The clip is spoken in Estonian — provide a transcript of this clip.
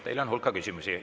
Teile on hulk küsimusi.